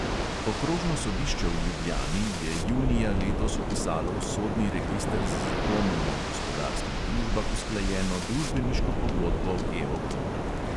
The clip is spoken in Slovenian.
Okrožno sodišče v ljubljani je junija letos vpisalo v sodni register z zakonom o gospodarskih družbah usklajeno družbeniško pogodbo geoplina.